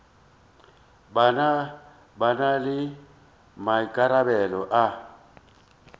ba na le maikarabelo a